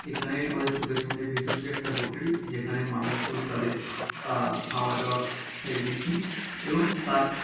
এখানে আমাদের চোখের সামনে ভেসে উঠেছে একটা হোটেল । যেখানে মানুষজন তাদের আহ খাওয়া দাওয়া সেরে নিচ্ছেন এবং তার--